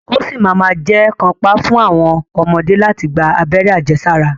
Ó ṣì ma ma jẹ́ kàńpá fún àwọn ọmọdé láti gba abẹ́rẹ́ àjẹsára.